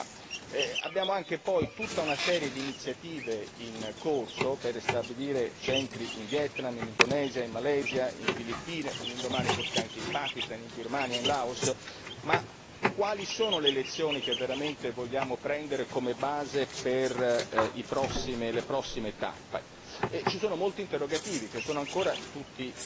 Insomma, abbiamo anche poi tutta una serie di iniziative in corso per ristabilire centri in Vietnam, in Indonesia, in Malesia, nelle Filippine, un domani forse anche in Pakistan, in Birmania, in Laos ma, quali sono le lezioni che veramente vogliamo prendere come base per le prossime tappe? Ci sono molti interrogativi che sono ancora tutti